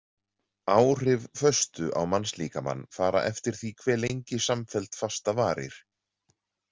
Áhrif föstu á mannslíkamann fara eftir því hve lengi samfelld fasta varir.